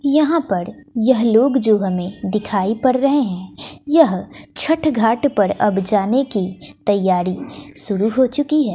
यहां पर यह लोग जो हमें दिखाई पड़ रहे हैं यह छठ घाट पर अब जाने की तैयारी शुरू हो चुकी है।